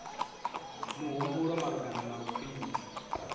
mihumbulo malugana na u khwinisa